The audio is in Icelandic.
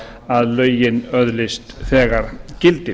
að lögin öðlist þegar gildi